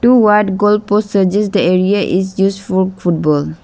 Two wide goal post suggest the area is used for football.